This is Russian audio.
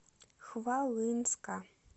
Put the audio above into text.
хвалынска